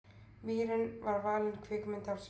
Mýrin var valin kvikmynd ársins.